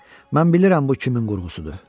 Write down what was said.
Mən bilirəm bu kimin qurğusudur.